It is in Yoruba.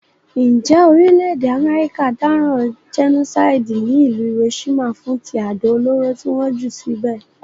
Njé orílẹ̀dè America dáràn genocide ní ìlú Hiroshima fún ti àdó olóró ti won jù síbè